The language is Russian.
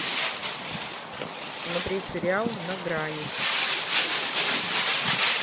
смотреть сериал на грани